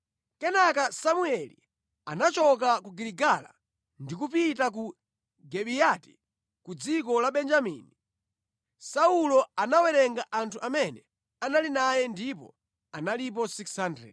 Kenaka Samueli anachoka ku Giligala ndi kupita ku Gibeyati ku dziko la Benjamini. Saulo anawerenga anthu amene anali naye ndipo analipo 600.